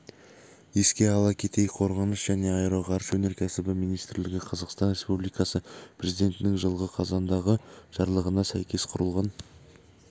еске сала кетейік қорғаныс және аэроғарыш өнеркәсібі министрлігі қазақстан республикасы президентінің жылғы қазандағы жарлығына сәйкес құрылған